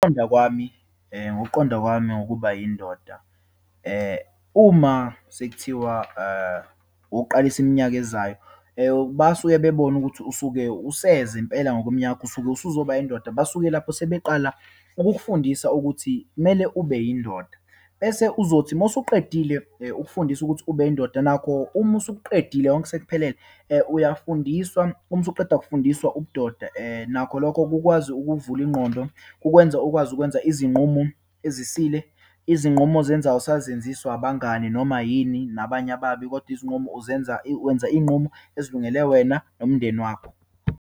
Ngokuqonda kwami, ngokuqonda kwami ngokuba yindoda, uma sekuthiwa ukuqalisa iminyaka ezayo, basuke bebona ukuthi usuke useze impela ngokweminyaka, usuke usuzoba indoda. Basuke lapho sebeqala ukukufundisa ukuthi kumele ube yindoda. Bese uzothi uma usuqedile ukufundiswa ukuthi ube indoda, nakho uma usukuqedile konke sekuphelele, uyafundiswa. Uma usuqeda ukufundiswa ubudoda , nakho lokho kukwazi ukuvula ingqondo. Kukwenza ukwazi ukwenza izinqumo ezisile. Izinqumo ozenzayo, awusazenziswa abangani noma yini, nabanye ababi, kodwa izinqumo uzenza, wenza iyinqumo ezilungele wena nomndeni wakho.